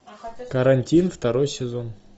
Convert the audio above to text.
карантин второй сезон